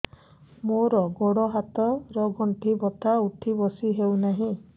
ମୋର ଗୋଡ଼ ହାତ ର ଗଣ୍ଠି ବଥା ଉଠି ବସି ହେଉନାହିଁ